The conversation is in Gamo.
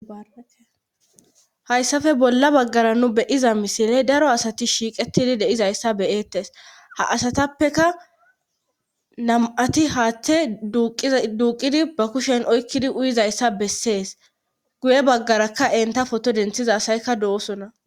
hayssafe bolla baggara nu beyiza misiley daro asati shiiqetidi deizayssa beyeettes ha asatappeka nam7ati haatte duuqidi ba kushen oykkidi uyizayssa bessees guye baggarakka enta foto denthiza asaykka do7osona